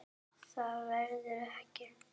Það verður ekki.